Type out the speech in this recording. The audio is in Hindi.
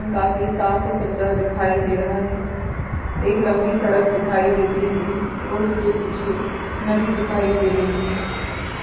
काफी साफ और सुंदर दिखाई दे रहा है एक लंबी सड़क दिखाई देती है और उसके पीछे नदी दिखाई दे रही है।